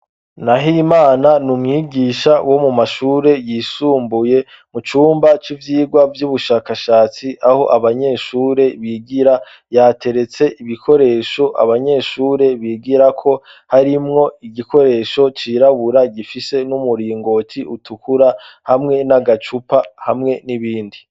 Na ho imana ni umwigisha wo mu mashure yisumbuye mu cumba c'ivyirwa vy'ubushakashatsi aho abanyeshure bigira yateretse ibikoresho abanyeshure bigira ko harimwo igikoresho cirabura gifise n'umuringoti utukura hamwe n'agacupa hamwe n'ibindi.